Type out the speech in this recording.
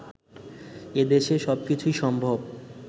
এদেশে সবকিছুই সম্ভব